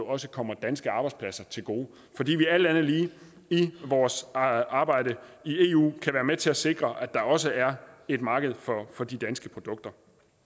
også kommer danske arbejdspladser til gode fordi vi alt andet lige i vores arbejde i eu kan være med til at sikre at der også er et marked for de danske produkter